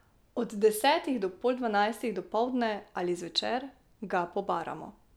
Od desetih do pol dvanajstih dopoldne ali zvečer, ga pobaramo.